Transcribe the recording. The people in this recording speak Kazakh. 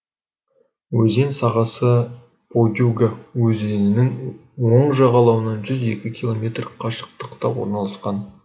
өзен сағасы подюга өзенінің оң жағалауынан жүз екі километр қашықтықта орналасқан